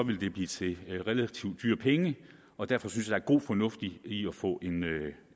vil det blive til relativt dyre penge og derfor synes er god fornuft i i at få